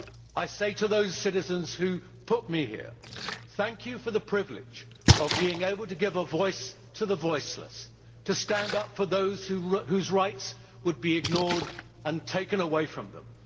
I say to those citizens who put me here thank you for the privilege of being able to give a voice to the voiceless, to stand up for those whose rights would be ignored and taken away from them.